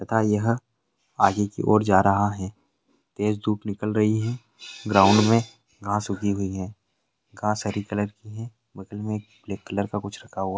तथा यहाँ आगे की ओर जा रहा है। तेज धुप निकल रही है ग्राउंड में घास उगी हुई है। घास हरी कलर की है। बोतल में ब्लेक कलर का कुछ रखा हुआ --